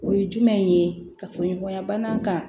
O ye jumɛn ye ka fɔ ɲɔgɔnya bana kan